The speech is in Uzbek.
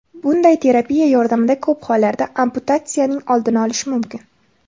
Bunday terapiya yordamida ko‘p hollarda amputatsiyanining oldini olish mumkin.